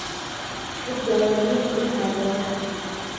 Cudbi ayaa laga heli karaa beeraha.